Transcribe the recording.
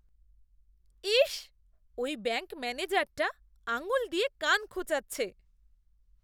ইস! ওই ব্যাঙ্ক ম্যানেজারটা আঙুল দিয়ে কান খোঁচাচ্ছে।